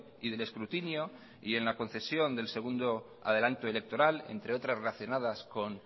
y del escrutinio y en la concesión del segundo adelanto electoral entre otras relacionadas con